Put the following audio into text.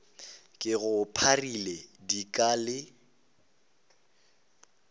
ke go pharile dika le